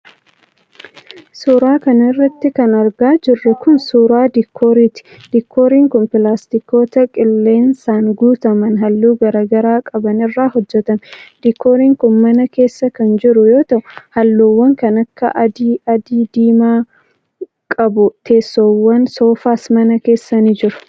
Suura kana irratti kan argaa jirru kun, suura diikooriiti. Diikooriin kun ,pilaastikoota qilleensaan guutaman haalluu garaa garaa qaban irraa hojjatame. Diikooriin kun mana keessa kan jiru yoo ta'u, haalluuwwan kan akka adii, adii-diimaa qabu. Teessoowwan soofaas mana keessa ni jiru.